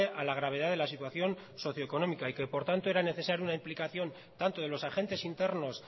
a la gravedad de la situación socioeconómica y que por tanto era necesario una implicación tanto de los agentes internos